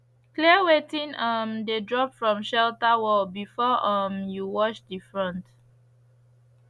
clear wetin um de drop from shelter wall before um you wash de front